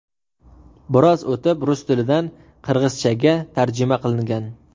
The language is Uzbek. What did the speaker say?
Biroz o‘tib, rus tilidan qirg‘izchaga tarjima qilingan.